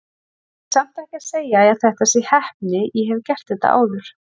Ég er samt ekki að segja að þetta sé heppni, ég hef gert þetta áður.